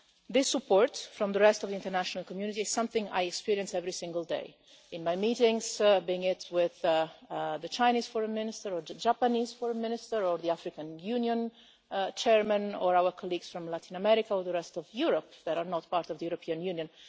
This support from the rest of the international community is something I experience every single day in my meetings, be it with the Chinese Foreign Minister or the Japanese Foreign Minister or the African Union Chairman or our colleagues from Latin America or the rest of Europe that are not part of the European Union.